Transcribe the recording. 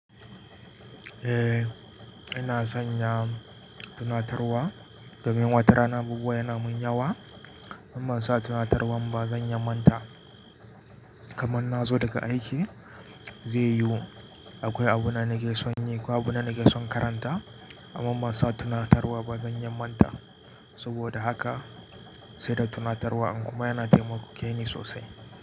Eh, ina son ya tunatarwa domin watarana abubuwa yana min yawa, in ban sa tunatarwan ba zan yaman ta. Kaman nazo daga aiki zai yiwu akwai abu na nake son yi, akwai abu na nake son karanta amma in bansa tunatarwa ba zan yaman ta saboda haka sai da tunatarwa in kuma yana taimake ni sosai.